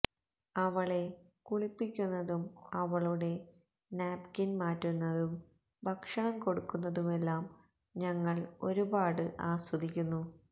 അവളെ കുളിപ്പിക്കുന്നതും അവളുടെ നാപ്കിന് മാറ്റുന്നതും ഭക്ഷണം കൊടുക്കുന്നതുമെല്ലം ഞങ്ങള് ഒരുപാട് ആസ്വദിക്കുന്നു